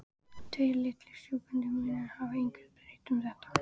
Tveir litlir sjúgandi munnar hafa engu breytt um þetta.